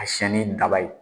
A siyɛn ni daba ye.